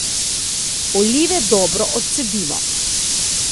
Olive dobro odcedimo.